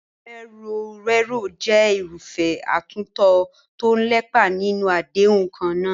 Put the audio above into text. Ìfọ̀rọ̀wérọ̀ jẹ́ irúfẹ́ àtúntò tó ń lépa níní àdéhùn kan náà.